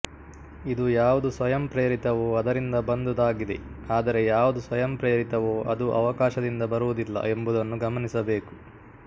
ಇದು ಯಾವುದು ಸ್ವಯಂಪ್ರೇರಿತವೋ ಅದರಿಂದ ಬಂದುದಾಗಿದೆ ಆದರೆ ಯಾವುದು ಸ್ವಯಂಪ್ರೇರಿತವೋ ಅದು ಅವಕಾಶದಿಂದ ಬರುವುದಿಲ್ಲ ಎಂಬುದನ್ನು ಗಮನಿಸಬೇಕು